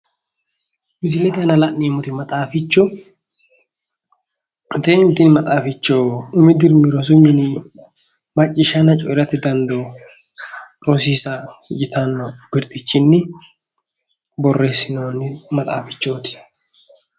Misilete aana la'neemmoti maxaaficho tini maxaaficho umi dirimi rosu mini maccishanna coyirate dandoo rosiisa yitanno birxichinni borreesinoonni maxaafichoti.